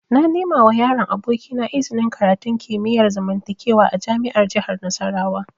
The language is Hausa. Na nemawa yaron abokina iznin karatun kimiyar zamantakewa a jami'ar jihar Nasarawa